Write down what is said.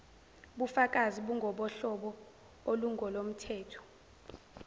bukafakazi bungobohlobo olungolomthetho